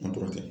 An kɔrɔ kɛ